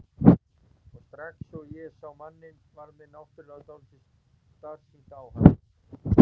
Og strax og ég sé manninn varð mér náttúrlega dálítið starsýnt á hann.